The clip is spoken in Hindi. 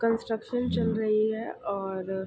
कन्स्ट्रक्शन चल रही है और --